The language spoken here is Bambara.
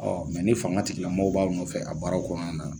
Ɔ ni fanga tigilamaaw b'a nɔfɛ a baara kɔnɔna na